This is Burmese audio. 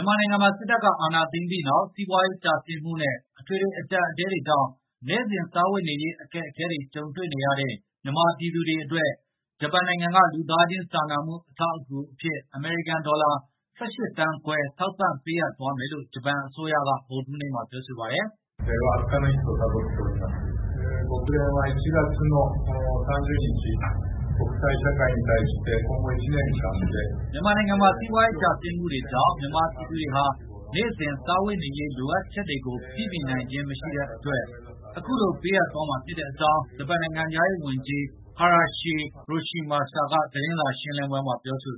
န်မာနိုင်ငံမှာ စစ်တပ်ကအာဏာသိမ်းပြီးနောက် စီးပွားရေးကျဆင်းမှုနဲ့ အထွေထွေ အကြပ်အတည်းကြောင့် နေ့စဉ်စားဝတ်နေရေး အခက်အခဲတွေကြုံတွေနေရတဲ့ မြန်မာပြည်သူတွေအတွက် ဂျပန်နိုင်ငံက လူသားခြင်းစာနာမှု အထောက်အကူဖြစ် အမေရိကန်ဒေါ်လာ ၁၈ သန်းခွဲ ထောက်ပံ့ပေးအပ်သွားမယ်လို့ ဂျပန်အစိုးရက ဗုဒ္ဓဟူးနေ့က ပြောဆိုလိုက်ပါတယ်။ မြန်မာနိုင်ငံမှာ စီးပွားရေး ကျဆင်းမှုတွေကြောင့် မြန်မာပြည်သူတွေဟာနေ့စဉ် စားဝတ် နေရေးလိုအပ်ချက်ကိုပြည့်မီနိုင်ခြင်းမရှိတဲ့အတွက် အခုလိုပေးအပ်မှာဖြစ်ကြောင်း ဂျပန်နိုင်ငံခြားရေးဝန်ကြီး ဟာရရှိ ရိုရှီမာစာ Hayashi Yoshimasa က သတင်းစာရှင်း လင်းပွဲမှာပြောဆို